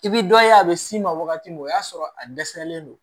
I bi dɔ ye a bɛ s'i ma wagati min o y'a sɔrɔ a dɛsɛlen don